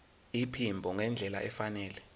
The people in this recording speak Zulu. iphimbo ngendlela efanele